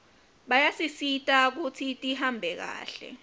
bayasisita kutsi tihambe kahle